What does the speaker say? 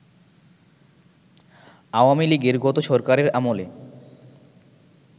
আওয়ামী লীগের গত সরকারের আমলে